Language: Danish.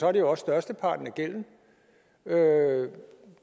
er det jo også størsteparten af gælden